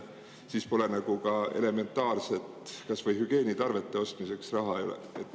Siis pole neil ka elementaarsete, kas või hügieenitarvete ostmiseks raha.